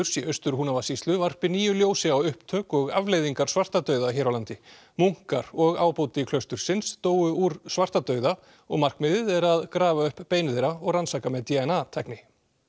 í Austur Húnavatnssýslu varpi nýju ljósi á upptök og afleiðingar svartadauða hér á landi munkar og ábóti klaustursins dóu úr svartadauða og markmiðið er að grafa upp bein þeirra og rannsaka með d n a tækni